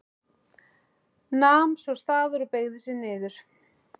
Nam svo staðar og beygði sig niður.